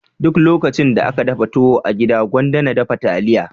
Duk lokacin da aka dafa tuwo a gida gwanda na dafa taliya.